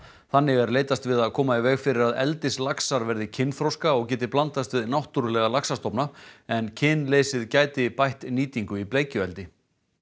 þannig er leitast við að koma í veg fyrir að eldislaxar verði kynþroska og geti blandast við náttúrulega laxastofna en kynleysið gæti bætt nýtingu í bleikjueldi